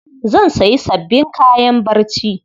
Zan sayi sabbin kayan barci.